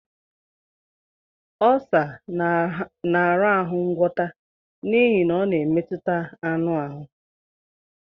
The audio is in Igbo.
Ọlsa na-arahụ ngwọta n'ihi na ọ na-emetụta anụ ahụ.